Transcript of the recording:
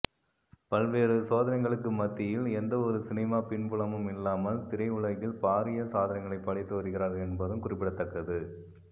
பல்வேறு சோதனைகளுக்கு மத்தியில் எந்த ஒரு சினிமா பின்புலமும் இல்லாமல் திரையுலகில் பாரிய சாதனைகளை படைத்து வருகிறார் என்பதும் குறிப்பிடத்தக்கது